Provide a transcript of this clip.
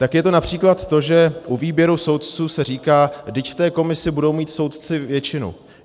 Tak je to například to, že u výběru soudců se říká - vždyť v té komisi budou mít soudci většinu.